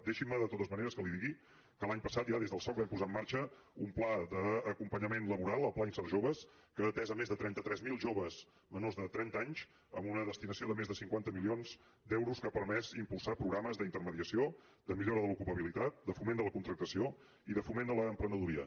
deixi’m de totes maneres que li digui que l’any passat ja des del soc vam posar en marxa un pla d’acompanyament laboral el pla insert jove que ha atès més de trenta tres mil joves menors de trenta anys amb una destinació de més de cinquanta milions d’euros que ha permès impulsar programes d’intermediació de millora de l’ocupabilitat de foment de la contractació i de foment de l’emprenedoria